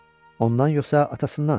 Ondan yoxsa atasından?